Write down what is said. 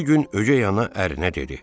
Bir gün ögəy ana ərinə dedi: